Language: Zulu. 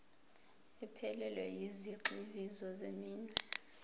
ephelele yezigxivizo zeminwe